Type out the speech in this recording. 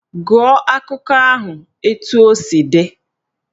Gụọ akụkọ ahụ etu o si dị!